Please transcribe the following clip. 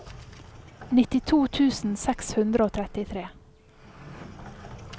nittito tusen seks hundre og trettitre